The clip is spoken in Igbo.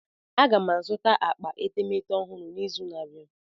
M ga-azụta akpa etemeete ọhụrụ n'izu na-abịa.